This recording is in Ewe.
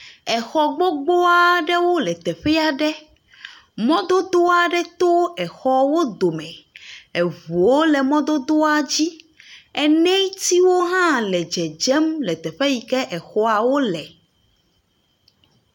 Exɔ gbogbo aɖe le te aɖe. Mɔ vovovowo to exɔa wo dome. Eŋuwo le mɔ dodoa dzi. Enɛtiwo hã le dzedzem le teƒe yi le exɔawo le.